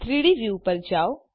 3ડી વ્યૂ ઉપર જાઓ